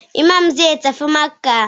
Iman zai tafi Makkah